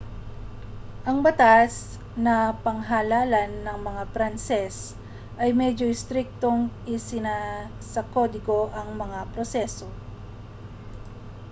ang batas na panghalalan ng mga pranses ay medyo istriktong isinasakodigo ang mga proseso